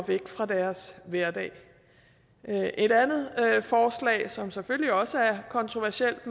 væk fra deres hverdag et andet forslag som selvfølgelig også er kontroversielt